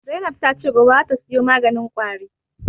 Zainab ta ce gobe za ta sayo maganin ƙwari